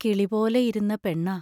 കിളിപോലെ ഇരുന്ന പെണ്ണാ.